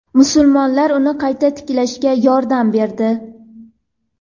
Musulmonlar uni qayta tiklashga yordam berdi.